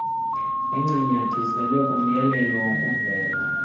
lincanyathiselwe kumyalelo wokuvela